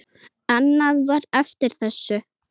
Annað var eftir þessu.